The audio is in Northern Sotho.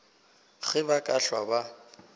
ge ba ka hlwa ba